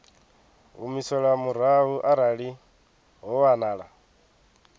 humiselwa murahu arali ho wanala